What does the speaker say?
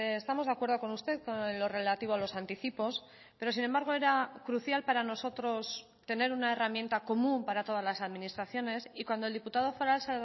estamos de acuerdo con usted con lo relativo a los anticipos pero sin embargo era crucial para nosotros tener una herramienta común para todas las administraciones y cuando el diputado foral